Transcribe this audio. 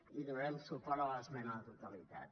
i donarem suport a l’esmena a la totalitat